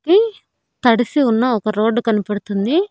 కి తడిసి ఉన్న ఒక రోడ్డు కనబడుతుంది.